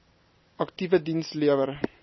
aktiewe diens lewer